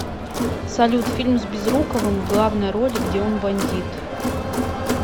салют фильм с безруковым в главной роли где он бандит